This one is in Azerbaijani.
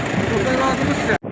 Özünə nəzarət elə.